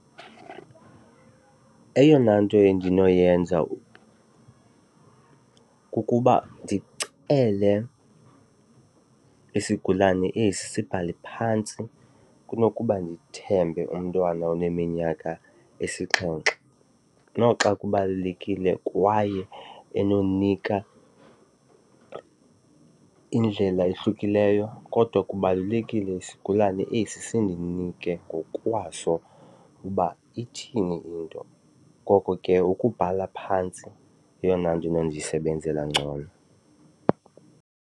Eyona nto endinoyenza kukuba ndicele isigulane esi sibhale phantsi kunokuba ndithembe umntwana oneminyaka esixhenxe noxa kubalulekile kwaye enonika indlela ehlukileyo, kodwa kubalulekile isigulane esi sindinike ngokwaso uba ithini into. Ngoko ke ukubhala phantsi yeyona nto inondisebenzela ngcono.